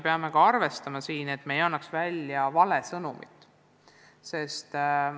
Samas me ei tohi välja saata valet sõnumit.